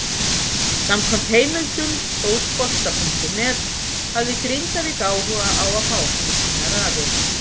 Samkvæmt heimildum Fótbolta.net hafði Grindavík áhuga á að fá hann í sínar raðir.